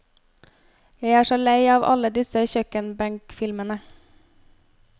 Jeg er så lei av alle disse kjøkkenbenkfilmene.